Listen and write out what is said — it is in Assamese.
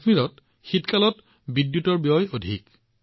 কাশ্মীৰত শীতকালৰ বাবে বিদ্যুতৰ ব্যয় অধিক